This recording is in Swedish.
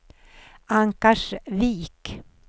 Ankarsvik